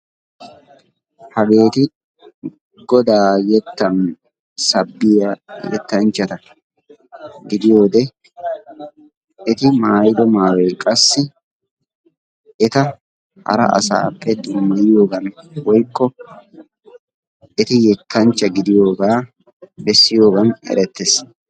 Hageeti Godaa keettan sabbiya yettanchchata gidiyode eti maayiddo maayoy qassi eta hara asappe dummayiyogan woykko eti yettanchcha gidiyogaa bessiyogaan erettees.